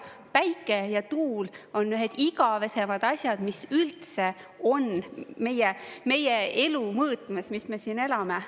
Päike ja tuul on ühed igavesemad asjad, mis üldse on meie elu mõõtmes, mis me siin elame.